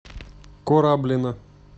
кораблино